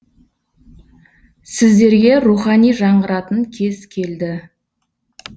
сіздерге рухани жаңғыратын кез келді